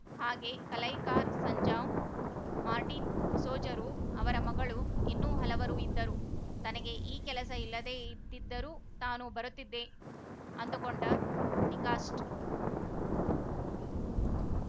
ಹಾಗೇ ಕಲೈಕಾರ ಸಂಜಾಂವ ಮಾರ್ಟಿನ ಸೋಜರು ಅವರ ಮಗಳು ಇನ್ನೂ ಹಲವರು ಇದ್ದರು ತನಗೆ ಈ ಕೆಲಸ ಇಲ್ಲದೆ ಇದ್ದಿದ್ದರೂ ತಾನೂ ಬರುತ್ತಿದ್ದೆ ಅಂದು ಕೊಂಡ ಡಿಕಾಷ್ಟ